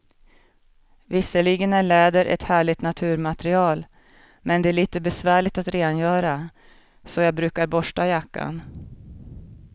Visserligen är läder ett härligt naturmaterial, men det är lite besvärligt att rengöra, så jag brukar borsta jackan.